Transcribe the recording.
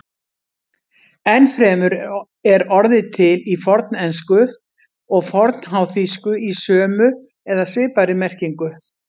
Enn fremur er orðið til í fornensku og fornháþýsku í sömu eða svipaðri merkingu.